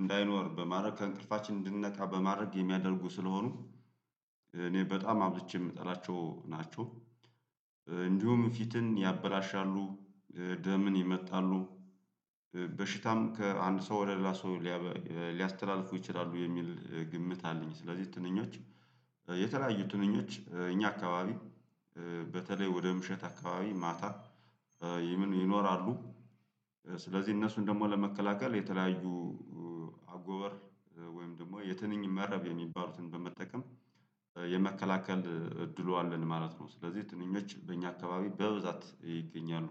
እንዳይኖር በማድረግ ከእንቅልፋችን እንድንነቃ በማድረግ የሚያደርጉ ስለሆኑ እኔ በጣም አብዝቼ የምጠላቸው ናቸው። እንዲሁም ፊትን ያበላሻሉ ደምን ይመጣሉ በሽታም ከአንድ ሰው ወደ ሌላ ሰው ሊያስተላልፉ ይችላሉ የሚል ግምት አለኝ። ስለዚህ ትንኞች የተለያዩ ትንኞች እኛ አካባቢ በተለይ ወደ ምሽት አካባቢ ማታ ይምን ይኖራሉ። ስለዚህ እነሱን ደግሞ ለመከላከል የተለያዩ አጎበር ወይም ደግሞ የትንኝ መረብ የሚባሉትን በመጠቀም የመከላከል እድሉ አለን ማለት ነው። ስለዚህ ትንኞች በእኛ አካባቢ በብዛት ይገኛሉ።